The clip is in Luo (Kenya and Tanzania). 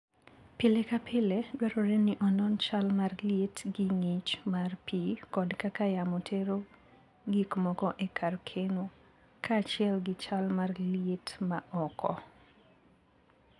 Pile ka pile, dwarore ni onon chal mar liet gi ng'ich mar pi kod kaka yamo tero gik moko e kar keno, kaachiel gi chal mar liet ma oko.